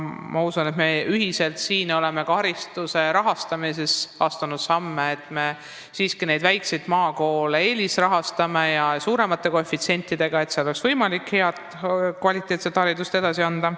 Ma usun, et me oleme ühiselt hariduse rahastamises astunud samme, et me siiski väikseid maakoole eelisrahastame suuremate koefitsientidega, et seal oleks jätkuvalt võimalik head ja kvaliteetset haridust omandada.